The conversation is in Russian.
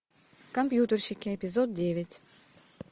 компьютерщики эпизод девять